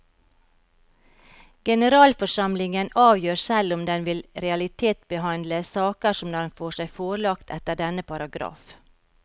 Generalforsamlingen avgjør selv om den vil realitetsbehandle saker som den får seg forelagt etter denne paragraf.